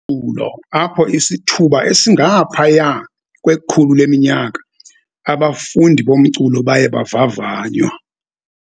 ulo, apho isithuba esingaphaya kwe-100 leminyaka, abafundi bomculo baye bavavanywa.